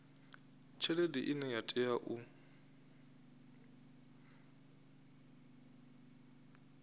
tshelede ine ya tea u